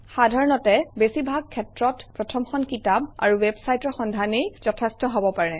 সাধাৰণতে বেছিভাগ ক্ষেত্ৰত প্ৰথমখন কিতাপ আৰু ৱেবচাইটৰ সন্ধানেই যথেষ্ট হব পাৰে